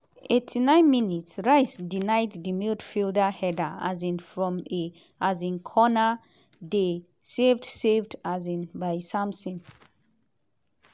89 mins - rice denied di midfielder header um from a um corner dey saved saved um by simon.